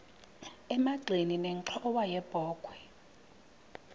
emagxeni nenxhowa yebokhwe